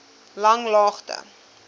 langlaagte